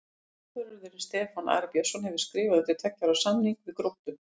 Markvörðurinn Stefán Ari Björnsson hefur skrifað undir tveggja ára samning við Gróttu.